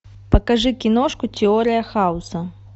покажи киношку теория хаоса